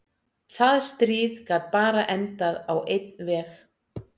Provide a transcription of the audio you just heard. Það stríð gat bara endað á einn veg.